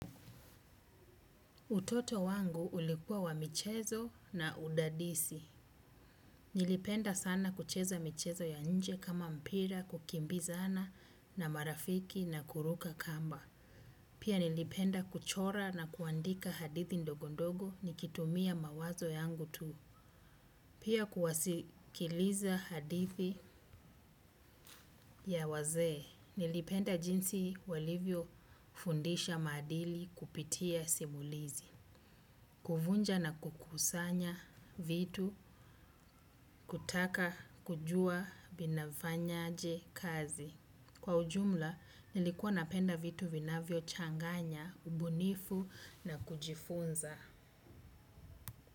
Utoto wangu ulikuwa wa michezo na udadisi. Nilipenda sana kucheza michezo ya inje kama mpira, kukimbizana na marafiki na kuruka kamba. Pia nilipenda kuchora na kuandika hadithi ndogo ndogo nikitumia mawazo yangu tu. Pia kuwasikiliza hadithi ya wazee. Nilipenda jinsi walivyo fundisha madili kupitia simulizi. Kuvunja na kukusanya vitu, kutaka kujua, vina fanyaje, kazi. Kwa ujumla, nilikuwa napenda vitu vinavyo changanya, ubunifu na kujifunza.